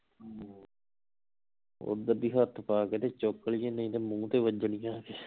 ਓਧਰ ਦੀ ਹੱਥ ਪਾ ਕੇ ਤੇ ਚੁੱਕ ਲਈਏ ਨਹੀਂ ਤਾਂ ਮੂੰਹ ਤੇ ਵਜਣਗੀਆਂ